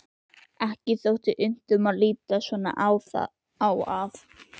Ekki þótti unnt að líta svo á að